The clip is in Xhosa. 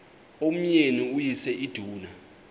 umyeni uyise iduna